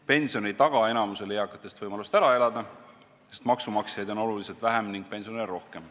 Pension ei taga enamikule eakatele võimalust ära elada, sest maksumaksjaid on oluliselt vähem ning pensionäre oluliselt rohkem.